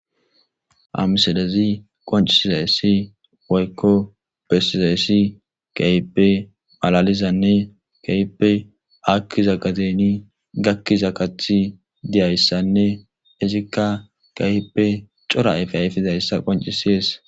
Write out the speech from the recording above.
amsodezi qoncisizaysssi woykko bessizayssi kaipe malalizanne kaipe akkiza gateni gakkiza kathi diyayssanne izikka kaipe cora efe ayfizayssa qoncisies